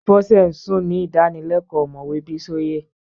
Bọ́sẹ̀ ń sùn ni ìdánilẹ́kọ́ọ̀ omowe Bísóyè